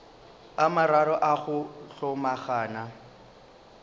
a mararo a go hlomagana